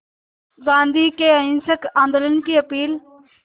गांधी के अहिंसक आंदोलन की अपील